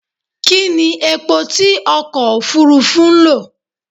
Kí ní epo tí okò Òfurufú ń lò?